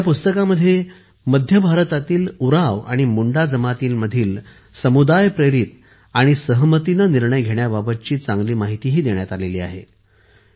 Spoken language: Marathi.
या पुस्तकात मध्य भारतातील उरांव आणि मुंडा जमातींमधील समुदायप्रेरित आणि सहमतीने निर्णय घेण्याबाबतही चांगली माहिती देण्यात आली आहे